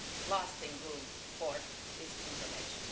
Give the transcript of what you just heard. be lasting room for disinformation.